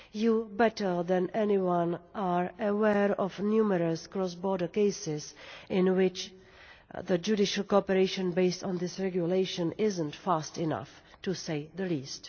Parliament, better than anyone, is aware of numerous cross border cases in which the judicial cooperation based on this regulation is not fast enough, to say the least.